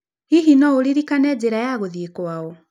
Hihi no ũririkane njĩra ya gũthiĩ kwao?